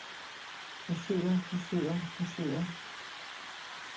forsøger forsøger forsøger